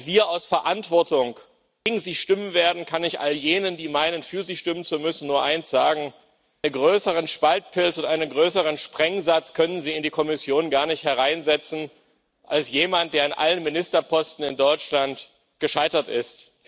Und auch wenn wir aus Verantwortung gegen sie stimmen werden, kann ich all jenen, die meinen, für sie stimmen zu müssen, nur eins sagen einen größeren Spaltpilz und einen größeren Sprengsatz können Sie in die Kommission gar nicht hereinsetzen, als jemanden, der in allen Ministerposten in Deutschland gescheitert ist.